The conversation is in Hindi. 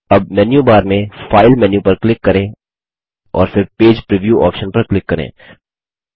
अब मेन्यू बार में फाइल मेन्यू पर क्लिक करें और फिर पेज प्रीव्यू ऑप्शन पर क्लिक करें